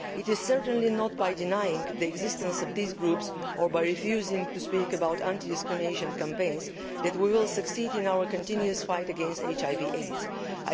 It is certainly not by denying the existence of these groups or by refusing to speak about anti discrimination campaigns that we will succeed in our continuous fight against HIV AIDS.